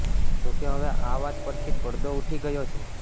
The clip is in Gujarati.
જો કે હવે આ વાત પરથી પડદો ઉઠી ગયો છે